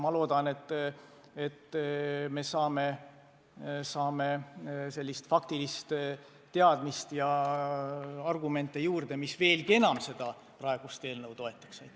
Ma loodan, et me kuuleme uusi fakte ja argumente, mis veelgi enam praegu arutatavat eelnõu toetavad.